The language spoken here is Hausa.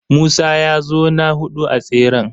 Musa ya zo na huɗu a tseren.